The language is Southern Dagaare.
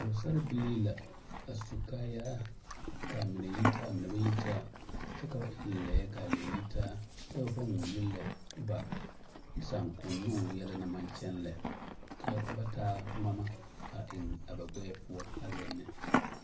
Pɔgesarre bilii la a su kaayaa k'a mine yitaa a mine ba yitaa kyɛ ka ba eŋ lɛɛ k'a lɛɛ yitaa kyɛ ba pãã wulo lɛ ba sããkonnoŋ yɛlɛ naŋ maŋ kyɛŋ lɛ ka ba taa ŋmama a eŋ a ba gbɛɛ poɔ a zeŋ ne.